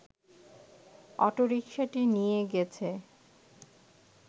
অটোরিকশাটি নিয়ে গেছে